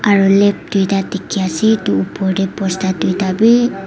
aroo leep doita di ki asae etu opor dae bosta duita bi.